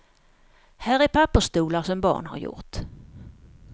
Här är pappersstolar, som barn har gjort.